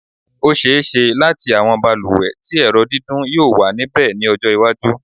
Ó ṣe-é-ṣe láti àwọn balùwẹ̀ tí ẹ̀rọ dídún yóò wà níbẹ̀ ní ọjọ́-iwájú.